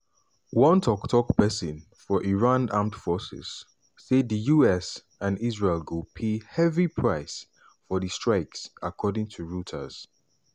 one tok-tok pesin for iran armed forces say di us and israel go pay "heavy price" for di strikes according to reuters.